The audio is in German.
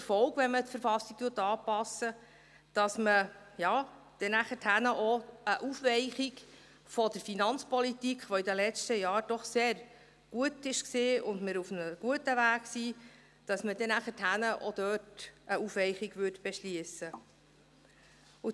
Denn dies hätte auch zur Folge, dass man nachher auch eine Aufweichung der Finanzpolitik, die in den letzten Jahren doch sehr gut war und mit welcher wir auf einem guten Weg sind, dass man nachher auch dort eine Aufweichung beschliessen würde.